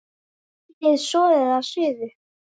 Hitið soðið að suðu.